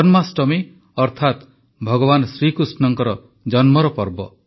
ଜନ୍ମାଷ୍ଟମୀ ଅର୍ଥାତ ଭଗବାନ ଶ୍ରୀକୃଷ୍ଣଙ୍କ ଜନ୍ମର ପର୍ବ